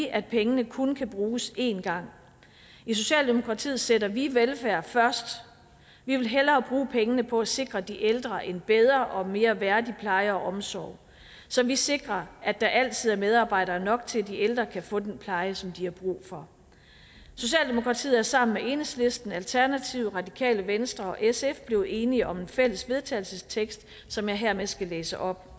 at pengene kun kan bruges en gang i socialdemokratiet sætter vi velfærd først vi vil hellere bruge pengene på at sikre de ældre en bedre og mere værdig pleje og omsorg så vi sikrer at der altid er medarbejdere nok til at de ældre kan få den pleje som de har brug for socialdemokratiet er sammen med enhedslisten alternativet radikale venstre og sf blevet enige om en fælles vedtagelsestekst som jeg hermed skal læse op